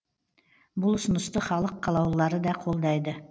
бұл ұсынысты халық қалаулылары да қолдайды